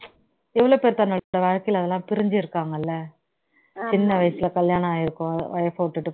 எவ்வளவு பேர் தன்னோட வாழ்க்கையில அதெல்லாம் பிரிஞ்சு இருக்காங்க இல்ல சின்ன வயசுல கல்யாணம் ஆயிருக்கும் wife அ விட்டுட்டு